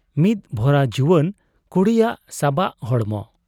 ᱢᱤᱫ ᱵᱷᱚᱨᱟ ᱡᱩᱣᱟᱹᱱ ᱠᱩᱲᱤᱭᱟᱜ ᱥᱟᱵᱟᱜ ᱦᱚᱲᱢᱚ ᱾